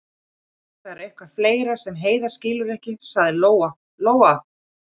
Ef það er eitthvað fleira sem Heiða skilur ekki, sagði Lóa-Lóa.